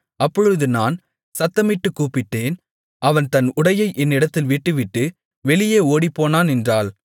அப்பொழுது நான் சத்தமிட்டுக் கூப்பிட்டேன் அவன் தன் உடையை என்னிடத்தில் விட்டுவிட்டு வெளியே ஓடிப்போனான் என்றாள்